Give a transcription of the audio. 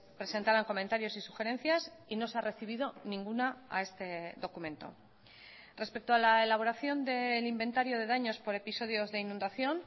presentaran comentarios y sugerencias y no se ha recibido ninguna a este documento respecto a la elaboración del inventario de daños por episodios de inundación